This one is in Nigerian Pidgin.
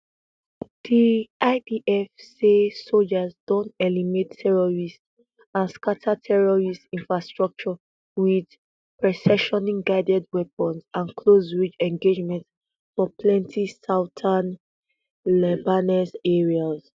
di idf say sojas don eliminate terrorists and scata terrorist infrastructure wit precisioning guided weapons and close range engagements for plenti southern lebanese areas